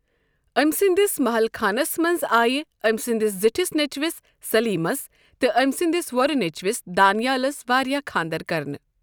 أمۍ سٕنٛدِس محل خانس منز آیہ أمۍ سٕندِس زِٹِھس نیٚچِوِس ، سٔلیٖمس تہٕ أمۍ سٕنٛدِس وۄرٕ نیٚچِوس ، دانِیالس واریاہ خانٛدر کرنہٕ۔